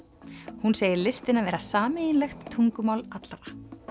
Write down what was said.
hún segir listina vera sameiginlegt tungumál allra